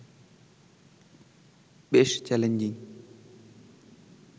বেশ চ্যালেঞ্জিং